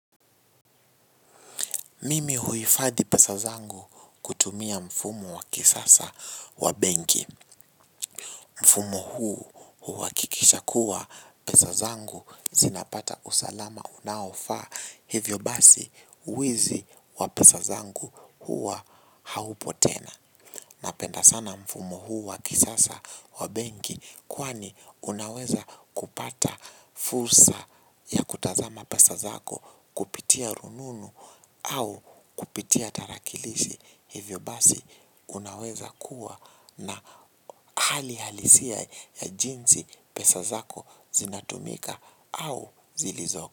Mimi huifadhi pesa zangu kutumia mfumo wa kisasa wa benki. Mfumo huu huakikisha kuwa pesa zangu zinapata usalama unaofaa hivyo basi uwizi wa pesa zangu huwa haupo tena. Napenda sana mfumo huu wa kisasa wa benki kwani unaweza kupata fursa ya kutazama pesa zako kupitia rununu au kupitia tarakilishi hivyo basi unaweza kuwa na hali halisia ya jinsi pesa zako zinatumika au zilizoko.